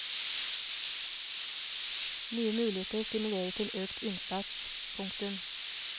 Nye muligheter stimulerer til økt innsats. punktum